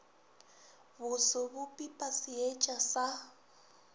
boso bo pipa seetša sa